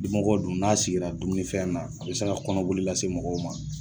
Dimɔgɔ dun n'a sigira dumunifɛn na a be se ka kɔnɔboli lase mɔgɔw ma